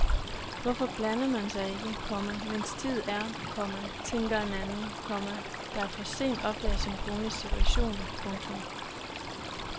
Hvorfor blander man sig ikke, komma mens tid er, komma tænker en anden, komma der for sent opdager sin kones situation. punktum